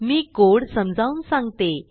मी code समजावून सांगते